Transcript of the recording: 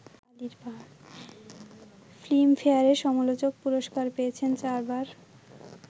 ফিল্মফেয়ারে সমালোচক পুরস্কার পেয়েছেন চারবার